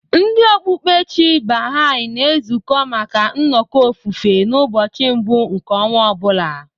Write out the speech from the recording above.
Ndị okpukpe Chi Baha'i na-ezukọ maka nnọkọ ofufe n'ụbọchị mbụ nke ọnwa ọ bụla.